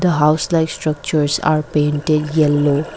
house like structures are painted yellow.